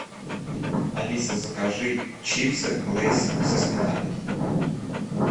алиса закажи чипсы лейс со сметаной